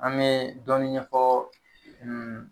An be dɔɔni ɲɛfɔ